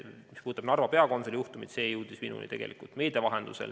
Mis puudutab Narva peakonsuli juhtumit, siis see jõudis minuni meedia vahendusel.